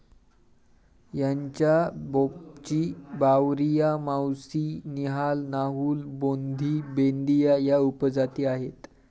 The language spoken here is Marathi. यांच्या बोपची, बावरिया, मावसी, निहाल, नाहुल, बोंधी, बेंदीया या उपजाती आहेत.